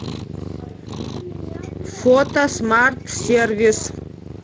фото смарт сервис